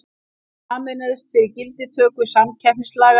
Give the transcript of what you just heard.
Sameinuðust fyrir gildistöku samkeppnislaga